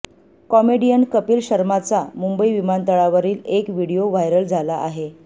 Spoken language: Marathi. कॉमेडियन कपिल शर्माचा मुंबई विमानतळावरील एक व्हिडिओ व्हायरल झाला आहे